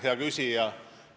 Hea küsija!